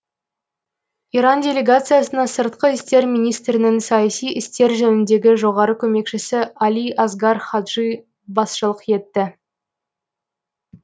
иран делегациясына сыртқы істер министрінің саяси істер жөніндегі жоғары көмекшісі али асгар хаджи басшылық етеді